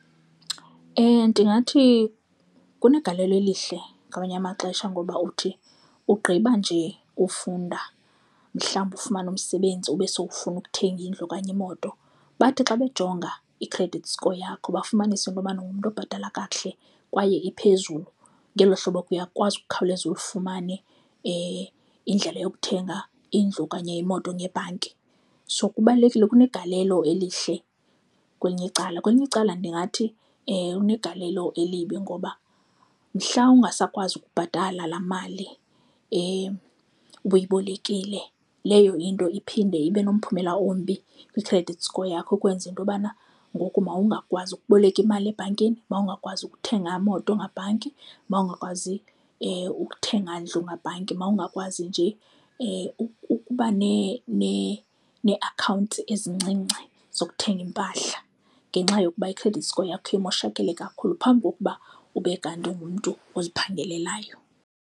Ndingathi kunegalelo elihle ngamanye amaxesha ngoba uthi ugqiba nje ufunda mhlawumbi ufumane umsebenzi ube sowufuna ukuthenga indlu okanye imoto, bathi xa bejonge i-credit score yakho bafumanise into yobana ungumntu obhatala kakuhle kwaye iphezulu ngelo hlobo ke uyakwazi ukukhawuleza ulifumane indlela yokuthenga indlu okanye imoto ngebhanki. So kubalulekile, kunegalelo elihle kwelinye icala. Kwelinye icala ndingathi kunegalelo elibi ngoba mhla ungasakwazi ukubhatala laa mali obuyibolekile leyo into iphinde ibe nomphumela ombi kwi-credit score yakho okwenza into yobana ngoku mawungakwazi ukuboleka imali ebhankini, mawungakwazi ukuthenga imoto ngebhanki, mawungakwazi ukuthenga ndlu ngebhanki. Mawungakwazi nje ukuba neeakhawunti ezincinci zokuthenga iimpahla ngenxa yokuba i-credit score yakho imoshakele kakhulu phambi kokuba ube kanti ungumntu oziphangelelayo.